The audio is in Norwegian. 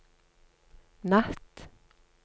natt